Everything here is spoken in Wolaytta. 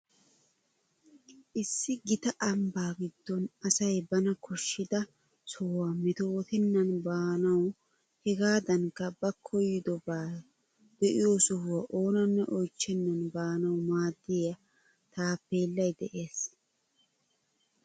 Issi gita ambbaa giddon asay bana koshshida sohuwa metootennan baanawu hegaadankka ba koyidobaa de'iyo sohuwa oonanne oychchennan baanawu maaddiya taappeellay de'ees.